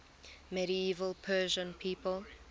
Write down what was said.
medieval persian people